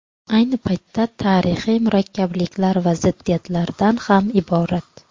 Ayni paytda, tarixy murakkabliklar va ziddiyatlardan ham iborat.